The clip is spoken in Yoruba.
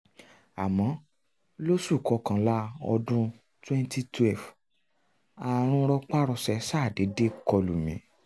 àmọ́ lóṣù kọkànlá ọdún twenty twelve ààrùn rọpárọsẹ̀ ṣàdédé kọlù mí